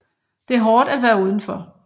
Det er hårdt at være udenfor